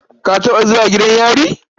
Ka taɓa zuwa gidan yari?